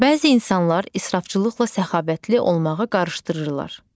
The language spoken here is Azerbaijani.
Bəzi insanlar israfçılıqla səxavətli olmağı qarışdırırlar.